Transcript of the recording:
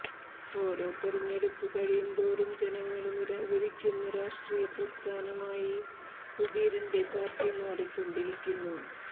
ഓരോ തെരഞ്ഞെടുപ്പ് കഴിയുന്തോറും ജനങ്ങള് നിരാകരിക്കുന്ന രാഷ്ട്രീയ പ്രസ്ഥാനമായി സുധീരന്റെ പാര്ട്ടി മാറിക്കൊണ്ടിരിക്കുന്നു